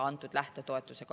Anti Poolamets, palun!